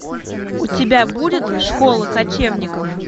у тебя будет школа кочевников